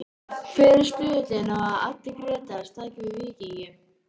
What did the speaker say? Hver er stuðullinn á að Addi Grétars taki við Víkingi?